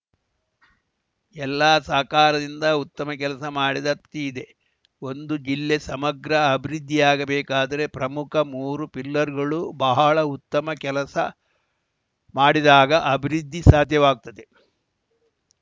ಎಲ್ಲ ಸಹಕಾರದಿಂದ ಉತ್ತಮ ಕೆಲಸ ಮಾಡಿದ ತೃಪ್ತಿ ಇದೆ ಒಂದು ಜಿಲ್ಲೆ ಸಮಗ್ರ ಅಭಿವೃದ್ಧಿಯಾಗಬೇಕಾದರೆ ಪ್ರಮುಖ ಮೂರು ಪಿಲ್ಲರ್‌ಗಳು ಬಹಳ ಉತ್ತಮ ಕೆಲಸ ಮಾಡಿದಾಗ ಅಭಿವೃದ್ಧಿ ಸಾಧ್ಯವಾಗುತ್ತದೆ